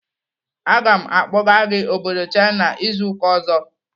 Aga m akpọga gị obodo China izu ụka ọzọ!